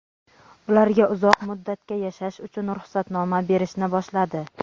ularga uzoq muddatga yashash uchun ruxsatnoma berishni boshladi.